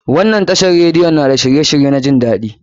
Wannan tashar radiyon na da shirye shirye na jin daɗi.